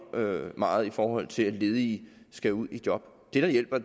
meget i forhold til at ledige skal ud i job det der hjælper